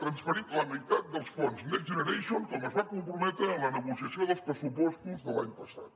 transferit la meitat dels fons next generation com es va comprometre en la negociació dels pressupostos de l’any passat